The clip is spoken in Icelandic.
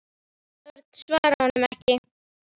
Örn svaraði honum ekki.